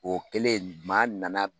O kɛlen, maa nana